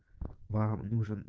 вам